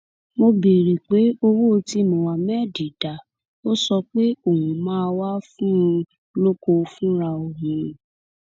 mo béèrè pé owó tí muhammad dá ò sọ pé òun máa wàá fún un lóko fúnra òun